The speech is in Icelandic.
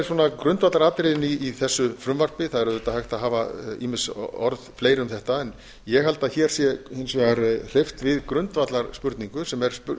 svona grundvallaratriðin í þessu frumvarpi það er auðvitað hægt að hafa ýmis orð fleiri um þetta en ég held að hér sé hins vegar hreyft við grundvallarspurningu sem er